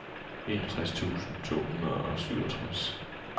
enogtres tusind to hundrede og syvogtres